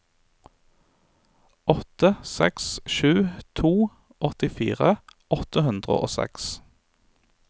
åtte seks sju to åttifire åtte hundre og seks